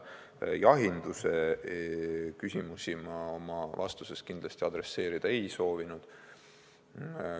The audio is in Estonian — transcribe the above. Jahinduse küsimusi ma oma vastustes kindlasti puudutada ei ole soovinud.